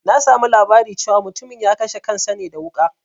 Na samu labari cewa mutumin ya kashe kansa ne da wuƙa